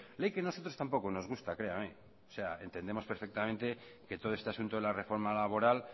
ley que a nosotros tampoco nos gusta créame entendemos perfectamente que todo este asunto de la reforma laboral